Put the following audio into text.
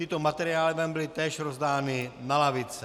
Tyto materiály vám byly též rozdány na lavice.